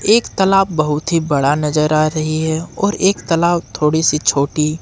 एक तालाब बहुत ही बड़ा नजर आ रही है और एक तालाब थोड़ी सी छोटी।